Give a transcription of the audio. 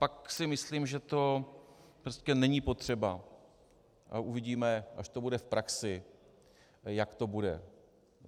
Pak si myslím, že to prostě není potřeba, a uvidíme, až to bude v praxi, jak to bude.